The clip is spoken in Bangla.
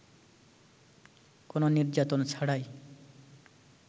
কোন নির্যাতন ছাড়াই